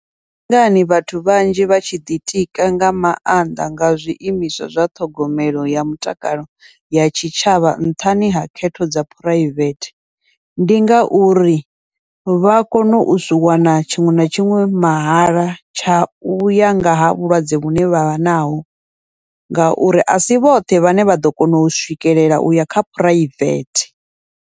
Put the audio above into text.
Ndi ngani vhathu vhanzhi vha tshi ḓitika nga maanḓa nga zwiimiswa zwa ṱhogomelo ya mutakalo ya tshitshavha nṱhani ha khetho dza phuraivethe, ndi ngauri vha kone u zwi wana tshiṅwe na tshiṅwe mahala tsha uya ngaha vhulwadze vhune vhavha naho, ngauri asi vhoṱhe vhane vha ḓo kona u swikelela uya kha phuraivethe.